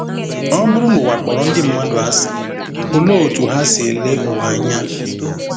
Ọ bụrụ na ụwa kpọrọ ndị mmadụ asị, olee otú ha si ele ụwa anya?